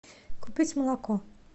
купить молоко